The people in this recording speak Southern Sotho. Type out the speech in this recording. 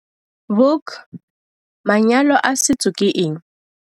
Vuk- Manyalo a setso ke eng?